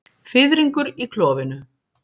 Fiðringur í klofinu.